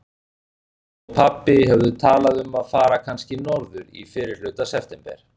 Mamma og pabbi höfðu talað um að fara kannski norður í fyrrihluta september.